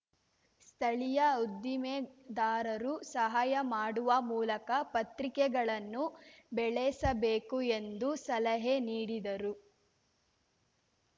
ಸ್ಥಳೀಯ ಉದ್ದಿಮೆದಾರರು ಸಹಾಯ ಮಾಡುವ ಮೂಲಕ ಪತ್ರಿಕೆಗಳನ್ನು ಬೆಳೆಸಬೇಕು ಎಂದು ಸಲಹೆ ನೀಡಿದರು